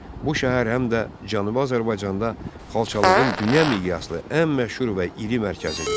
Bu şəhər həm də Cənubi Azərbaycanda xalçalığın dünya miqyaslı ən məşhur və iri mərkəzidir.